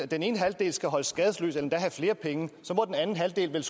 den ene halvdel skal holdes skadesløs eller endda have flere penge så må den anden halvdel vel